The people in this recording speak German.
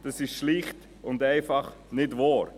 Dies ist schlicht und einfach nicht wahr.